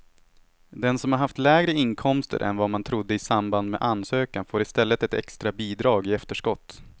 Den som har haft lägre inkomster än vad man trodde i samband med ansökan får i stället ett extra bidrag i efterskott.